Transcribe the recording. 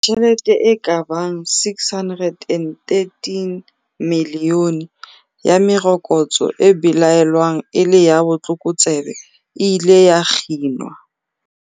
Tjhelete e ka bang R613 milione ya merokotso e belaelwang e le ya botlokotsebe e ile ya kginwa.